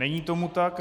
Není tomu tak.